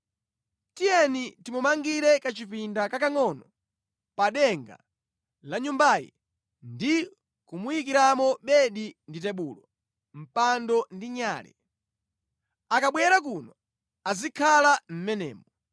Tiyeni timumangire kachipinda kakangʼono pa denga la nyumbayi ndi kumuyikiramo bedi ndi tebulo, mpando ndi nyale. Akabwera kuno azikhala mʼmenemo.”